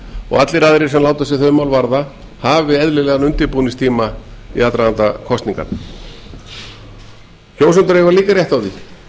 og allir aðrir sem láta sig þau mál varða hafi eðlilegan undirbúningstíma í aðdraganda kosninganna kjósendur eiga líka rétt á því